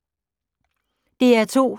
DR2